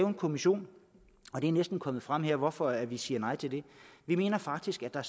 en kommission det er næsten kommet frem her hvorfor vi siger nej til det vi mener faktisk at der